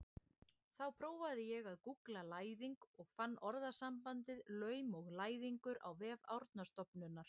Þá prófaði ég að gúggla læðing og fann orðasambandið laum og læðingur á vef Árnastofnunar.